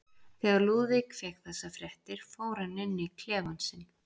Þegar Lúðvík fékk þessar fréttir fór hann inn í klefann sinn.